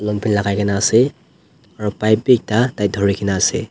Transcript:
long pant lagai kina ase aro pipe b ekta tai duri kina ase.